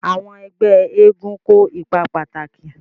Àwọn ẹgbẹ́ eégún kó ipa pàtàkì.